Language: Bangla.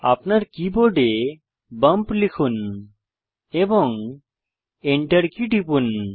আপনার কীবোর্ডে বাম্প লিখুন এবং enter কী টিপুন